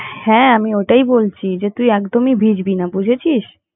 হ্যাঁ আমি ওটাই বলছি যে তুই একদমই ভিজবি না বুঝেছিস।